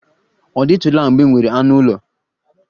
Ọ dịtụla mgbe ị nwere anụ ụlọ?